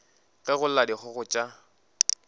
ge go lla dikgogo tša